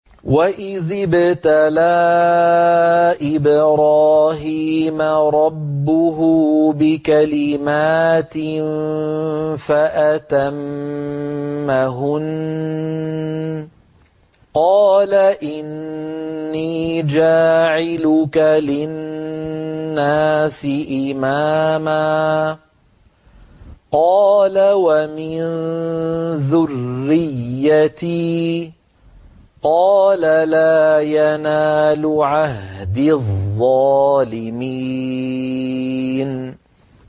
۞ وَإِذِ ابْتَلَىٰ إِبْرَاهِيمَ رَبُّهُ بِكَلِمَاتٍ فَأَتَمَّهُنَّ ۖ قَالَ إِنِّي جَاعِلُكَ لِلنَّاسِ إِمَامًا ۖ قَالَ وَمِن ذُرِّيَّتِي ۖ قَالَ لَا يَنَالُ عَهْدِي الظَّالِمِينَ